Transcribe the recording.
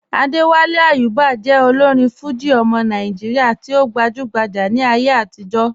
Adéwálé Àyùbá jẹ́ òlórin Fújì ọmọ Nàìjíríà tí o gbajúgbájá ní ayé àtìjọ́.